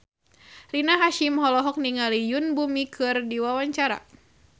Rina Hasyim olohok ningali Yoon Bomi keur diwawancara